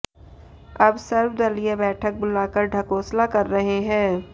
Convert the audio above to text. अब सर्वदलीय बैठक बुलाकर ढकोसला कर रहे हैं